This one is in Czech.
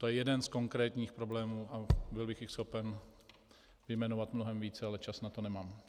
To je jeden z konkrétních problémů a byl bych jich schopen vyjmenovat mnohem více, ale čas na to nemám.